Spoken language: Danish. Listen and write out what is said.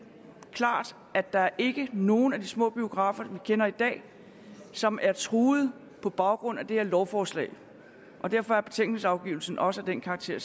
klart at der ikke nogen af de små biografer som vi kender i dag som er truet på grund af det her lovforslag derfor er betænkningsafgivelsen også af den karakter